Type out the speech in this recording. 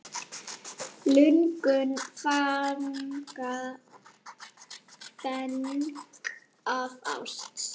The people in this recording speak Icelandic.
Lungun fanga feng af ást.